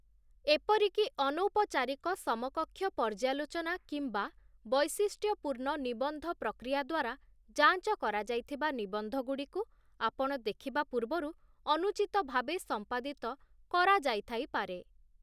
ଏପରିକି ଅନୌପଚାରିକ ସମକକ୍ଷ ପର୍ଯ୍ୟାଲୋଚନା କିମ୍ବା ବୈଶିଷ୍ଟ୍ୟପୂର୍ଣ୍ଣ ନିବନ୍ଧ ପ୍ରକ୍ରିୟା ଦ୍ୱାରା ଯାଞ୍ଚ କରାଯାଇଥିବା ନିବନ୍ଧଗୁଡ଼ିକୁ ଆପଣ ଦେଖିବା ପୂର୍ବରୁ ଅନୁଚିତ ଭାବେ ସମ୍ପାଦିତ କରାଯାଇଥାଇପାରେ ।